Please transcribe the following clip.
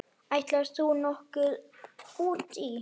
Ætlar þú nokkuð út í?